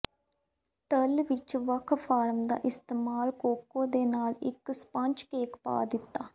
ਤਲ ਵਿਚ ਵੱਖ ਫਾਰਮ ਦਾ ਇਸਤੇਮਾਲ ਕੋਕੋ ਦੇ ਨਾਲ ਇੱਕ ਸਪੰਜ ਕੇਕ ਪਾ ਦਿੱਤਾ